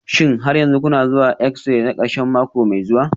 Shin har yanzu kuna zuwa yin exi-ray na kashi mako mai zuwa?